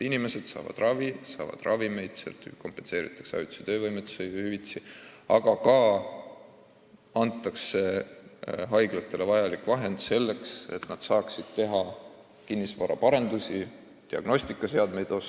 Inimesed saavad ravi, saavad odavamalt ravimeid osta, sealt kompenseeritakse ajutist töövõimetust, aga ka antakse haiglatele raha selleks, et nad saaksid kinnisvara arendada ja näiteks diagnostikaseadmeid osta.